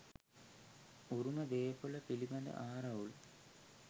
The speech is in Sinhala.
උරුම දේපොල පිළිබඳ ආරවුල්